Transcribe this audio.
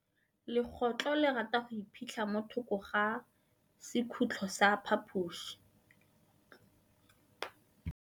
Legôtlô le rata go iphitlha mo thokô ga sekhutlo sa phaposi.